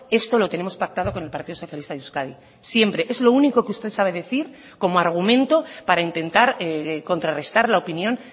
esto lo tenemos pactado con el partido socialista de euskadi siempre es lo único que usted sabe decir como argumento para intentar contrarrestar la opinión